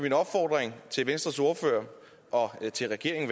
en opfordring til venstres ordfører og til regeringen